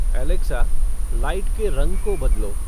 Alexa light के रंग को बदलो